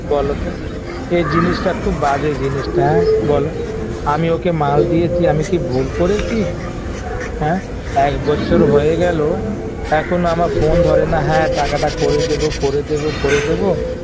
বলতো এই জিনিসটা খুব বাজে জিনিসটা হ্যাঁ বল আমি ওকে মাল দিয়েছি আমি কি ভুল করেছি হ্যাঁ এক বচ্ছর হয়ে গেল এখনো আমার phone ধরে না হ্যাঁ টাকাটা করে দেবো করে দেবো করে দেবো